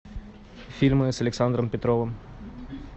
фильмы с александром петровым